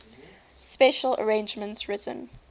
special arrangements written